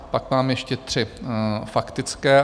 Pak mám ještě tři faktické.